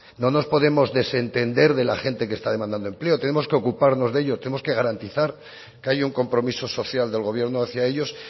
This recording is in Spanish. no nos podemos desentender de la gente que está demandando empleo tenemos que ocuparnos de ello tenemos que garantizar que hay un compromiso social del gobierno hacia ellos